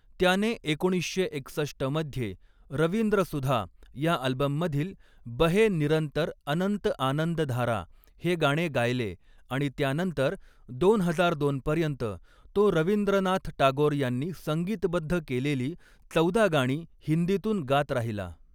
त्याने एकोणीसशे एकसष्ट मध्ये 'रवींद्रसुधा' या अल्बममधील 'बहे निरंतर अनंत आनंदधारा' हे गाणे गायले आणि त्यानंतर दोन हजार दोन पर्यंत तो रवींद्रनाथ टागोर यांनी संगीतबद्ध केलेली चौदा गाणी हिंदीतून गात राहिला.